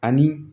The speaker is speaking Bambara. Ani